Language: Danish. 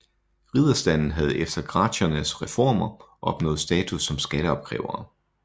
Ridderstanden havde efter Gracchernes reformer opnået status som skatteopkrævere